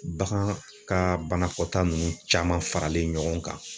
Bagan ka banakɔta nunnu caman faralen ɲɔgɔn kan